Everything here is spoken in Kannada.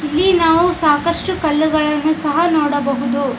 ಇಲ್ಲಿ ನಾವು ಸಾಕಷ್ಟು ಕಲ್ಲುಗಳನ್ನು ಸಹ ನಾವು ನೋಡಬಹುದು.